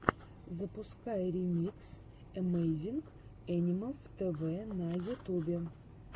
запускай ремикс эмэйзинг энималс тэвэ на ютубе